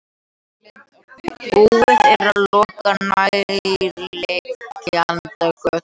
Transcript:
Búið er að loka nærliggjandi götum